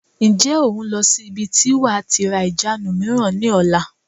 Ǹjẹ́ o n lọ sí ibi tí wàá tí ra ìjánu mìíràn ni ọ̀la?